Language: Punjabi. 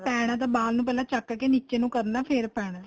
ਪੈਣਾ ਏ ਤਾਂ ਵਾਲ ਨੂੰ ਪਹਿਲਾਂ ਚੱਕ ਕੇ ਨੀਚੇ ਨੂੰ ਕਰਨਾ ਫ਼ੇਰ ਫ਼ੇਰ ਪੈਣਾ